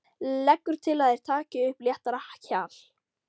Leggur til að þeir taki upp léttara hjal.